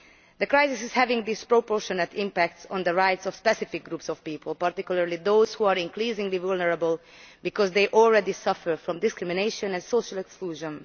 The crisis is having a disproportionate impact on the rights of specific groups of people, particularly those who are increasingly vulnerable because they already suffer from discrimination and social exclusion.